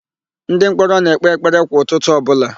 Ndịmkpọrọ na-ekpe ekpere kwa ụtụtụ ọbụla.